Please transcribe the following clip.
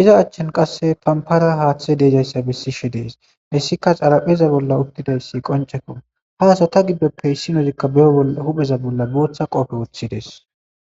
iza achchan qasse pampara haaththe deejayssa bessishe dees hessika xarapheza bolla uttidayss qoncekko ha asata giddoppe issinodikka bero hupheza bolla booththa qoofe woththidees